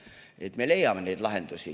Nii et me leiame neid lahendusi.